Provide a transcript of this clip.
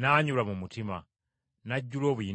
n’anyolwa mu mutima, n’ajjula obuyinike.